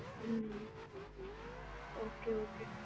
hmm okay okay